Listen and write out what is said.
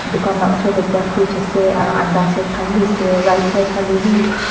dukan la sor ekta fridge ase aru undha set khan b ase right side khale b.